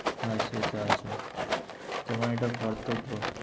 হ্যাঁ সেটা আছে। তোমার এটা কর্তব্য।